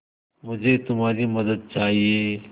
मुझे तुम्हारी मदद चाहिये